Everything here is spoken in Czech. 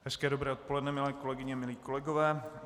Hezké dobré odpoledne, milé kolegyně, milí kolegové.